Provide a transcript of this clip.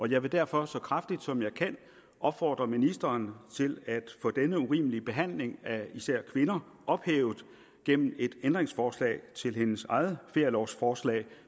jeg vil derfor så kraftigt som jeg kan opfordre ministeren til at få denne urimelige behandling af især kvinder ophævet gennem et ændringsforslag til hendes eget ferielovforslag